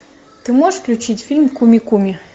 ты можешь включить фильм куми куми